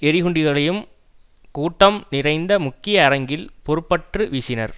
எறிகுண்டுகளையும் கூட்டம் நிறைந்த முக்கிய அரங்கில் பொறுப்பற்று வீசினர்